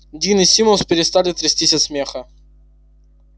дин и симус перестали трястись от смеха